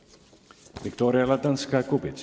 Viktoria Ladõnskaja-Kubits.